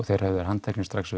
þeir höfðu verið handteknir strax